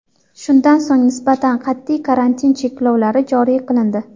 Shundan so‘ng nisbatan qat’iy karantin cheklovlari joriy qilindi.